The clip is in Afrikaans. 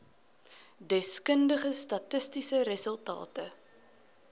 deskundige statistiese resultate